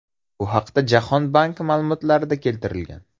Bu haqda Jahon banki ma’lumotlarida keltirilgan .